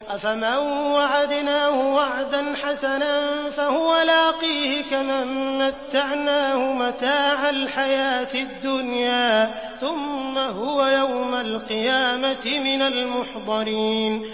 أَفَمَن وَعَدْنَاهُ وَعْدًا حَسَنًا فَهُوَ لَاقِيهِ كَمَن مَّتَّعْنَاهُ مَتَاعَ الْحَيَاةِ الدُّنْيَا ثُمَّ هُوَ يَوْمَ الْقِيَامَةِ مِنَ الْمُحْضَرِينَ